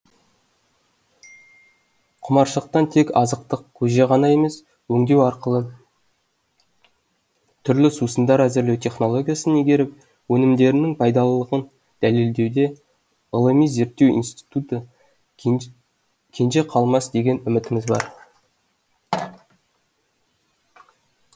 құмаршықтан тек азықтық көже ғана емес өңдеу арқылы түрлі сусындар әзірлеу технологиясын игеріп өнімдерінің пайдалылығын дәлелдеуде ғылыми зерттеу институты кенже қалмас деген үмітіміз бар